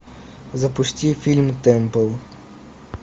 запусти фильм темпл